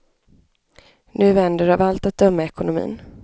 Nu vänder av allt att döma ekonomin.